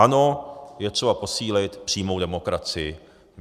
Ano, je třeba posílit přímou demokracii.